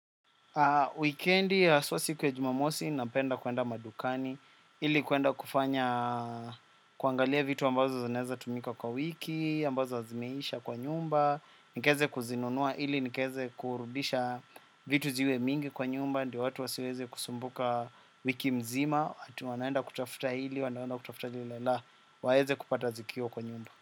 Wikendi haswa siku ya jumamosi, napenda kuenda madukani, ili kuenda kufanya kuangalia vitu ambazo zinaweza tumika kwa wiki, ambazo zimeisha kwa nyumba, nikaweze kuzinunua ili nikaweze kurudisha vitu ziwe mingi. Kwa nyumba, ndiyo watu wasiweze kusumbuka wiki mzima, ati wanaenda kutafuta hili, wanaenda kutafuta lile, la waweze kupata zikiwa kwa nyumba.